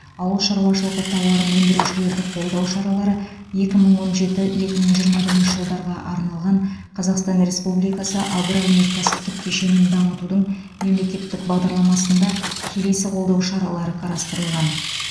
ауыл шаруашылығы тауарын өндірушілерді қолдау шаралары екі мың он жеті екі мың жиырма бірінші жылдарға арналған қазақстан республикасы агроөнеркәсіптік кешенін дамытудың мемлекеттік бағдарламасында келесі қолдау шаралары қарастырылған